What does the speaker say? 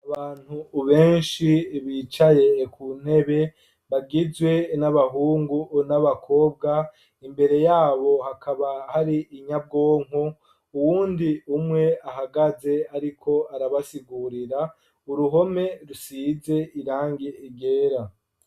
Abantu ubenshi bicaye ku ntebe bagizwe n'abahungu n'abakobwa imbere yabo hakaba hari inyabwonko uwundi umwe ahagaze, ariko arabasigurira uruhome rusize irange igera.